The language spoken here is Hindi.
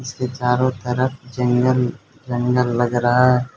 इसके चारों तरफ जंगल जंगल लग रहा--